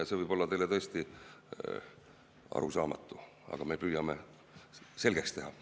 Ja see võib olla teile tõesti arusaamatu, aga me püüame selgeks teha.